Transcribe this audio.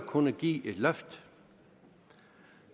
kunne give et løft